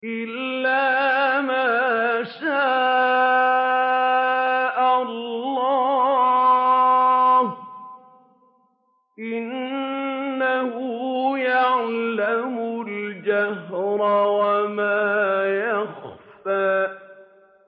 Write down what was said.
إِلَّا مَا شَاءَ اللَّهُ ۚ إِنَّهُ يَعْلَمُ الْجَهْرَ وَمَا يَخْفَىٰ